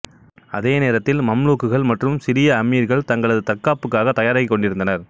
அதே நேரத்தில் மம்லூக்குகள் மற்றும் சிரிய அமீர்கள் தங்களது தற்காப்புக்காகத் தயாராகிக் கொண்டிருந்தனர்